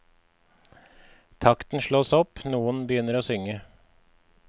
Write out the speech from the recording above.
Takten slås opp, noen begynner å synge.